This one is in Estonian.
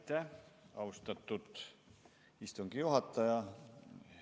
Aitäh, austatud istungi juhataja!